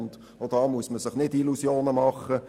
Auch hier muss man sich keine Illusionen machen: